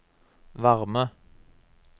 varme